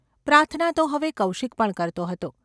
પ્રાર્થના તો હવે કૌશિક પણ કરતો હતો.